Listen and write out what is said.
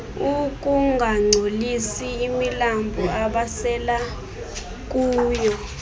ukungangcolisi imilambo abasela